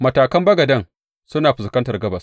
Matakan bagaden suna fuskantar gabas.